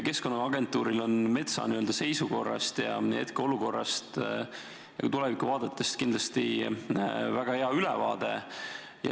Keskkonnaagentuuril on metsa seisukorrast – hetkeolukorrast – ja tulevikuvaadetest kindlasti väga hea ülevaade.